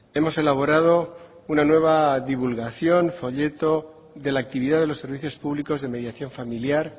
hemos elaborado una nueva divulgación folleto de la actividad de los servicios públicos de mediación familiar